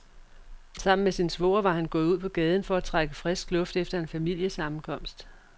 Sammen med sin svoger var han gået ud på gaden for at trække frisk luft efter en familiesammenkomst.